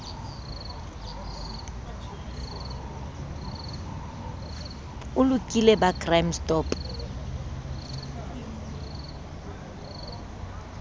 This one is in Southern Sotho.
o lokile ba crime stop